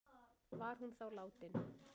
Var hún þá látin